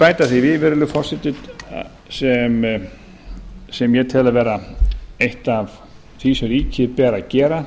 bæta því við virðulegi forseti sem ég tel vera eitt af því sem ríkinu ber að gera til að reyna